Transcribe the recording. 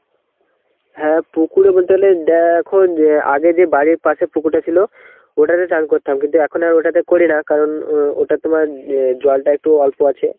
হ্যাঁ পুকুরে বলতে গেলে দেখো আগে যে বাড়ির পাশে পুকুরটা ছিল ওটাতে স্নান করতাম. কিন্তু এখন আর ওটাতে করি না. কারণ উম ওটা তোমার অ্যাঁ জলটা একটু অল্প আছে.